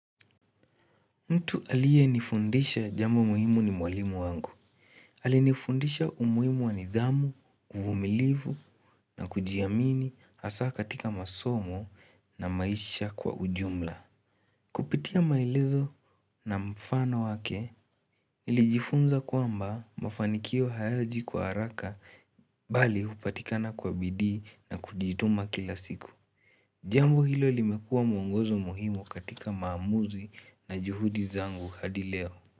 Mtu aliyenifundisha jambo muhimu ni mwalimu wangu. Alinifundisha umuhimu wa nidhamu, uvumilivu na kujiamini hasaa katika masomo na maisha kwa ujumla. Kupitia maelezo na mfano wake nilijifunza kwamba mafanikio hayaji kwa haraka bali hupatikana kwa bidii na kujituma kila siku. Jambo hilo limekuaw mungozo muhimu katika maamuzi na juhudi zangu hadi leo.